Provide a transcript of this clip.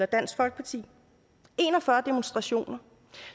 dansk folkeparti en og fyrre demonstrationer